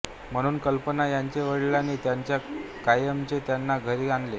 म्हणून कल्पना यांच्या वडिलांनी त्यांना कायमचे त्यांच्या घरी आणले